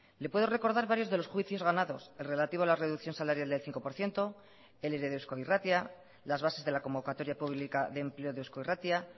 le puedo recordar varios de los juicios ganados el relativo a la reducción salarial del cinco por ciento el ere de eusko irratia las bases de la convocatoria pública de empleo de eusko irratia